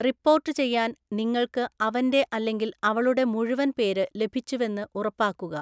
റിപ്പോർട്ടുചെയ്യാൻ നിങ്ങൾക്ക് അവന്റെ അല്ലെങ്കിൽ അവളുടെ മുഴുവൻ പേര് ലഭിച്ചുവെന്ന് ഉറപ്പാക്കുക.